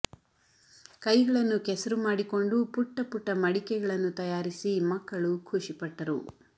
ಕೈಗಳನ್ನು ಕೆಸರು ಮಾಡಿಕೊಂಡು ಪುಟ್ಟ ಪುಟ್ಟ ಮಡಿಕೆಗಳನ್ನು ತಯಾರಿಸಿ ಮಕ್ಕಳು ಖುಷಿ ಪಟ್ಟರು